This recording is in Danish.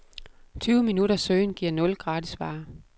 Tyve minutters søgen giver nul gratisvarer.